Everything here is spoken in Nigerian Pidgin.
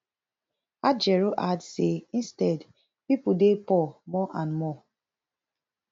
ajaero add say instead pipo dey poor more and more